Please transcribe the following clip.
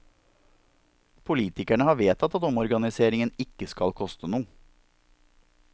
Politikerne har vedtatt at omorganiseringen ikke skal koste noe.